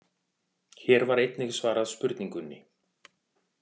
Hér er einnig svarað spurningunni: